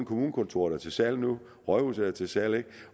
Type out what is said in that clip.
kommunekontoret er til salg nu rådhuset er til salg